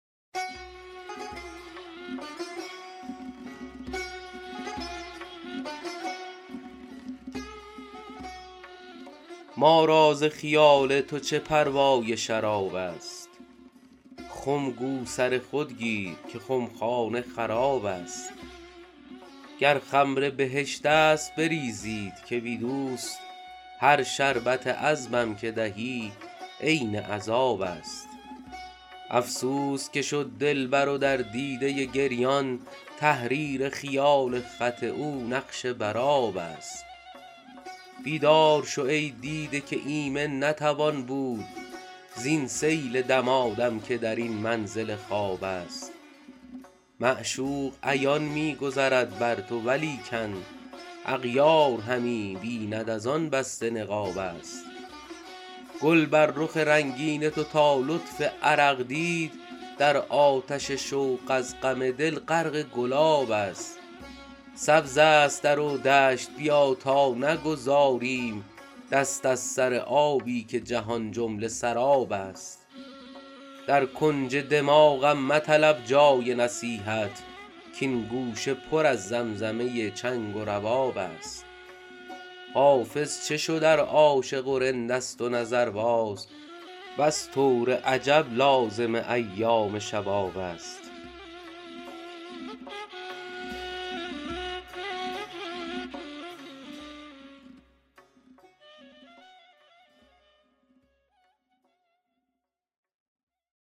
ما را ز خیال تو چه پروای شراب است خم گو سر خود گیر که خمخانه خراب است گر خمر بهشت است بریزید که بی دوست هر شربت عذبم که دهی عین عذاب است افسوس که شد دلبر و در دیده گریان تحریر خیال خط او نقش بر آب است بیدار شو ای دیده که ایمن نتوان بود زین سیل دمادم که در این منزل خواب است معشوق عیان می گذرد بر تو ولیکن اغیار همی بیند از آن بسته نقاب است گل بر رخ رنگین تو تا لطف عرق دید در آتش شوق از غم دل غرق گلاب است سبز است در و دشت بیا تا نگذاریم دست از سر آبی که جهان جمله سراب است در کنج دماغم مطلب جای نصیحت کـ این گوشه پر از زمزمه چنگ و رباب است حافظ چه شد ار عاشق و رند است و نظرباز بس طور عجب لازم ایام شباب است